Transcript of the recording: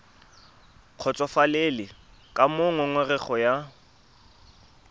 kgotsofalele ka moo ngongorego ya